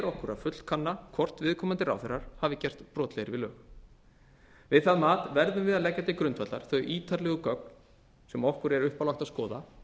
okkur að fullkanna hvort viðkomandi ráðherrar hafi gerst brotlegir við lög við það mat verðum við að leggja til grundvallar þau ítarlegu gögn sem okkur er uppálagt að skoða